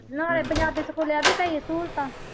ਨਾਲੇ ਪੰਜਾਬੀ ਸਕੂਲ ਹੈ ਵੀ ਕਈ ਸਹੂਲਤਾਂ।